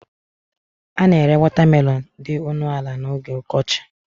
A na-ere watermelons dị ọnụ ala n'oge ọkọchị